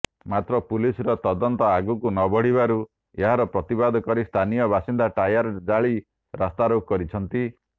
ମାତ୍ର ପୁଲିସର ତଦନ୍ତ ଆଗକୁ ନବଢିବାରୁ ଏହାର ପ୍ରତିବାଦ କରି ସ୍ଥାନୀୟ ବାସିନ୍ଦା ଟାୟାର ଜାଳି ରାସ୍ତାରୋକ କରିଛନ୍ତି